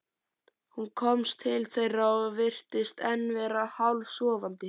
Hún kom til þeirra og virtist enn vera hálfsofandi.